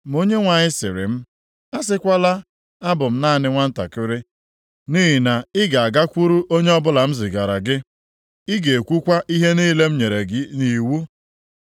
Ma Onyenwe anyị sịrị m, “Asịkwala ‘Abụ m naanị nwantakịrị,’ nʼihi na ị ga-agakwuru onye ọbụla m zigara gị, ị ga-ekwukwa ihe niile m nyere gị nʼiwu.